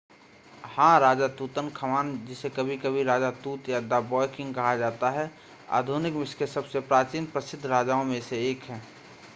हां राजा तूतनखामन जिसे कभी-कभी राजा तूत या द ब्वॉय किंग कहा जाता है आधुनिक मिस्र के सबसे प्राचीन प्रसिद्ध राजाओं में से एक है